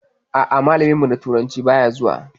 A'a, malamin mu na turanci baya zuwa.